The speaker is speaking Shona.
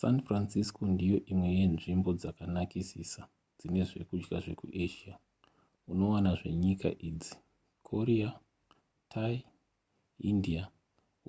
san francisco ndiyo imwe yenzvimbo dzakanakisisa dzine zvekudya zvekuasia unowana zvenyika idzi korea thai india